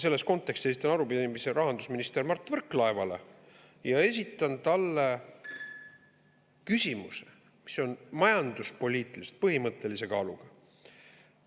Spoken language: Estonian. Selles kontekstis ma esitan arupärimise rahandusminister Mart Võrklaevale ja esitan talle küsimuse, mis on majanduspoliitiliselt põhimõttelise kaaluga.